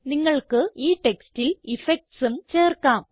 നിങ്ങൾക്ക് ഈ ടെക്സ്റ്റിൽ effectsഉം ചേർക്കാം